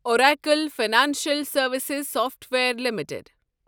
Oracle Financial Services Software limited